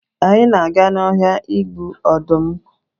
anyị na aga na ọhịa igbu ọdụm